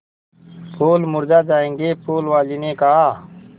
फूल मुरझा जायेंगे फूल वाली ने कहा